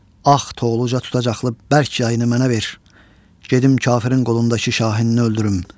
Ağ Toxluca tutacaqlı bərk yayını mənə ver, gedim kafirin qolundakı şahini öldürüm.